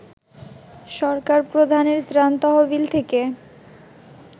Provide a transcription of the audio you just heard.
সরকার প্রধানের ত্রাণ তহবিল থেকে